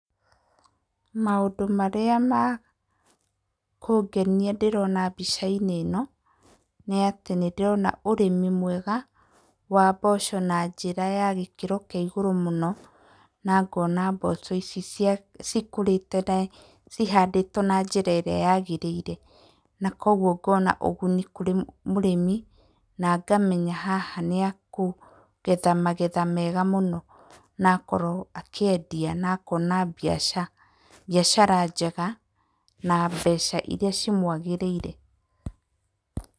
Maũndũ marĩa makũngenia ndĩrona mbica-inĩ ĩno, nĩ atĩ nĩndĩrona ũrĩmi mwega wa mboco na njĩra ya gĩkĩro kĩa igũrũ mũno na ngona mboco ici cikũrĩte, cihandĩtwo na njĩra ĩríĩ yagĩrĩire na koguo ngona ũguni kũrĩ mũrĩmi na ngamenya haha nĩ akũgetha magetha mega mũno, na akorwo akĩendia na akona mbiacara, mbiacara njega na mbeca iria cimwagĩrĩire.